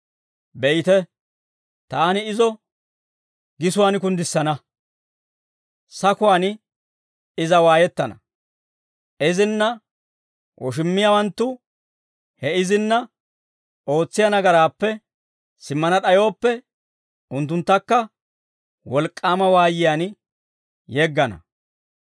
Be'ite, taani izo gisuwaan kunddissina; sakuwaan iza waayettana. Izinna woshummiyaawanttu he izinna ootsiyaa nagaraappe simmana d'ayooppe, unttunttakka wolk'k'aama waayiyaan yeggana.